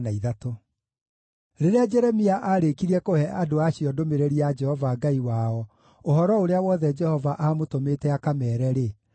Rĩrĩa Jeremia aarĩkirie kũhe andũ acio ndũmĩrĩri ya Jehova Ngai wao, ũhoro ũrĩa wothe Jehova aamũtũmĩte akameere-rĩ,